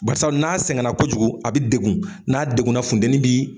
Barisa n'a sɛgɛn la kojugu a bɛ degun n'a deguna funtɛnin bi.